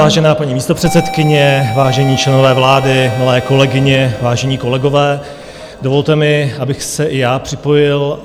Vážená paní místopředsedkyně, vážení členové vlády, milé kolegyně, vážení kolegové, dovolte mi, abych se i já připojil.